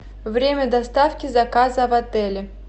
время доставки заказа в отеле